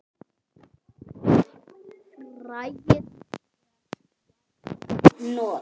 Fræið er vængjuð hnota.